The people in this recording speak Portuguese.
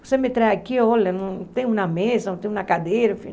Você me traz aqui, olha, não tem uma mesa, não tem uma cadeira, enfim.